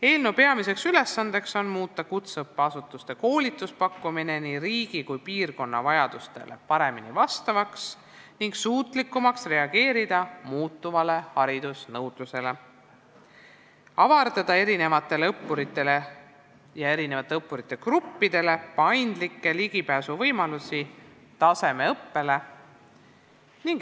Eelnõu peamine ülesanne on muuta kutseõppeasutuste koolituspakkumine nii riigi kui ka piirkonna vajadustele paremini vastavaks ning suutlikumaks reageerida muutuvale haridusnõudlusele, samuti avardada õppurite ja õppurigruppidele paindlikke ligipääsuvõimalusi tasemeõppele.